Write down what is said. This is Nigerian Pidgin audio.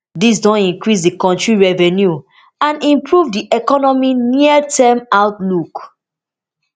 dis don increase di kontri revenue and improve di economy nearterm outlook